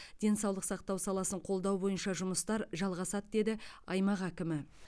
денсаулық сақтау саласын қолдау бойынша жұмыстар жалғасады деді аймақ әкімі